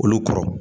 Olu kɔrɔ